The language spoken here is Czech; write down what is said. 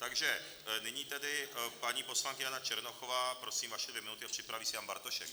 Takže nyní tedy paní poslankyně Jana Černochová, prosím, vaše dvě minuty, a připraví se Jan Bartošek.